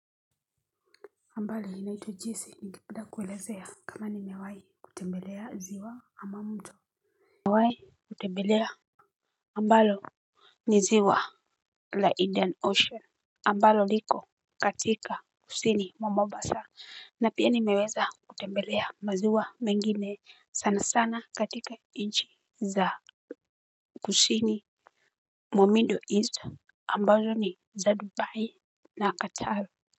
Habari ninaitwa jesi ningependa kuelezea kama nimewai kutembelea ziwa ama mtu. Nimewai kutembelea ambalo ni ziwa la indian Ocean ambalo liko katika kusini mwa mombasa. Na pia nimeweza kutembelea maziwa mengine sana sana katika nchi za kusini mumiddle east ambazo ni za Dubai na Qatar.